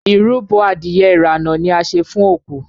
ìrúbo Adìyẹ irana ní a ṣe fún oku.